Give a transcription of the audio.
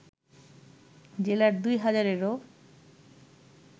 জেলার দুই হাজারেরও